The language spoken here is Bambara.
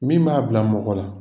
Min b'a bila mɔgɔ la